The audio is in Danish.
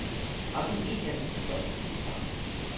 Også i medierne slår det gnister.